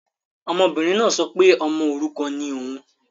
Ọmọbìnrin náà sọ pé ọmọ òrukàn ni òun